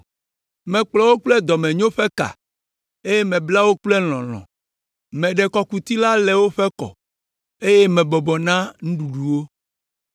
Mekplɔ wo kple dɔmenyo ƒe ka, eye mebla wo kple lɔlɔ̃. Meɖe kɔkuti la le woƒe kɔ, eye mebɔbɔ na nuɖuɖu wo.